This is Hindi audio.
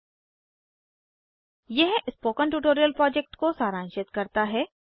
httpspoken tutorialorgWhat is a Spoken tutorial यह स्पोकन ट्यूटोरियल प्रोजेक्ट को सारांशित करता है